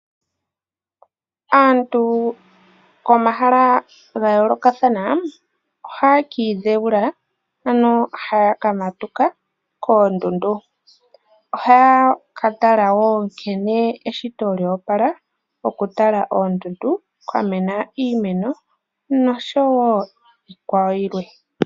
Aantu komahala gayolokathana oha ye kiidhewula ano haakamatuka koondundu , oha ya katala woo nkene eshito lyoopala mokutala oondundu hoka kwamena iimeno niikwawo yilwe.